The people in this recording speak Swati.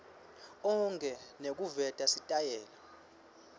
onkhe nekuveta sitayela